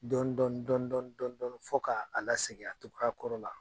Dɔɔni dɔɔni dɔɔni dɔɔni dɔɔni fo k' a la segin cogoya kɔrɔ la